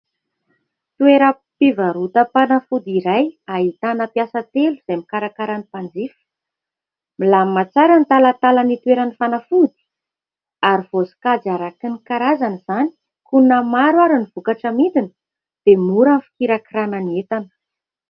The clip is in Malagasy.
Toeram-pivarotam-panafody iray ahitana mpiasa telo izay mikarakara ny mpanjifa. Milamina tsara ny talantalana itoeran'ny fanafody ary voasokajy araky ny karazany izany. Koa na maro ary ny vokatra amidiny dia mora ny fikirakirana ny entana.